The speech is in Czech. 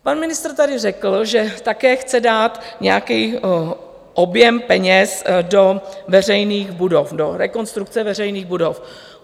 Pan ministr tady řekl, že také chce dát nějaký objem peněz do veřejných budov, do rekonstrukce veřejných budov.